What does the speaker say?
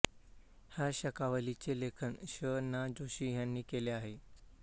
ह्या शकावलीचे लेखन शं ना जोशी ह्यांनी केले आहे